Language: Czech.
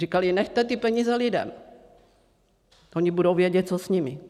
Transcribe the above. Říkali: nechte ty peníze lidem, oni budou vědět, co s nimi.